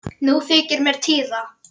Nú þykir mér týra!